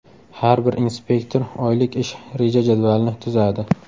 Har bir inspektor oylik ish reja-jadvalini tuzadi.